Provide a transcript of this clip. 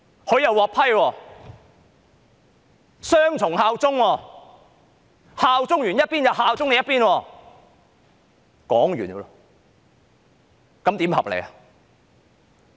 她是雙重效忠，效忠這一邊後又效忠另一邊，這樣合理嗎？